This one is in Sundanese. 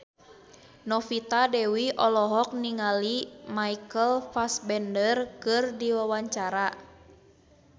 Novita Dewi olohok ningali Michael Fassbender keur diwawancara